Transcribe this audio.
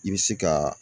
I bɛ se ka